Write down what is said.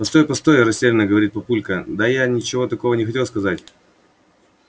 постой постой растеряно говорит папулька да я ничего такого не хотел сказать